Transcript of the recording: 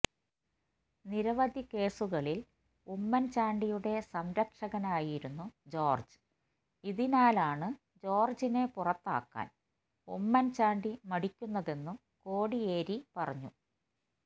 നിരവധി കേസുകളില് ഉമ്മന് ചാണ്ടിയുടെ സംരക്ഷകനായിരുന്നു ജോര്ഇതിനാലാണു ജോര്ജിനെ പുറത്താക്കാന് ഉമ്മന് ചാണ്ടി മടിക്കുന്നതെന്നും കോടിയേരി പറഞ്ഞു